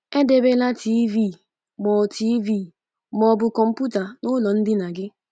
Edebela TV ma ọ TV ma ọ bụ kọmputa n’ụlọ ndina gị.